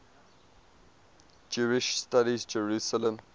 jewish studies jerusalem